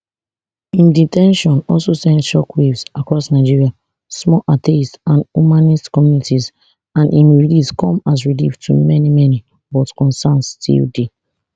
im de ten tion also send shockwaves across nigeria small atheist and humanist communities and im release come as relief to many many but concerns still dey